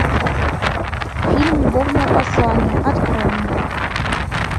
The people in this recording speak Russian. фильм любовное послание открой мне